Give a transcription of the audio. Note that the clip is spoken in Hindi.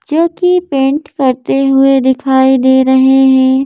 जो की पेंट करते हुए दिखाई दे रहे हैं।